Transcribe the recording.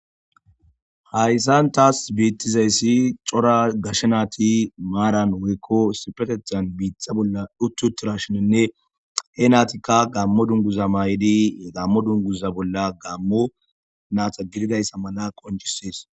Hayssan taas biittizayssi cora gashe naati maaran woykko sipetethan biitxa bolla dhuttu tira shininne he naatikka gammo dunguza maay7idi gammo dunguza bolla gammo naata girgayssa mala qonjisees.